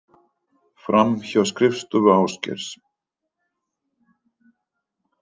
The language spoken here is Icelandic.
Fram hjá skrifstofu Ásgeirs.